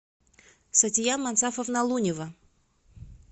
сатия мансафовна лунева